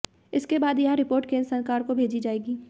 इसके बाद यह रिपोर्ट केंद्र सरकार को भेजी जाएगी